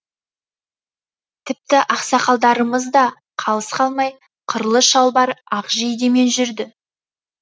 тіпті ақсақалдарымыз да қалыс қалмай қырлы шалбар ақ жейдемен жүрді